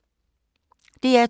DR2